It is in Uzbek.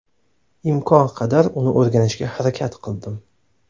Imkon qadar uni o‘rganishga harakat qildim.